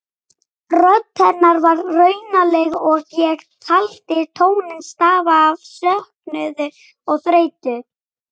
Rödd hennar var raunaleg og ég taldi tóninn stafa af söknuði og þreytu.